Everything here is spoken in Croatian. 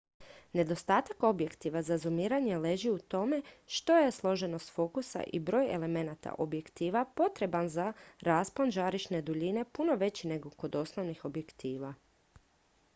nedostatak objektiva za zumiranje leži u tome što je složenost fokusa i broj elemenata objektiva potreban za raspon žarišne duljine puno veći nego kod osnovnih objektiva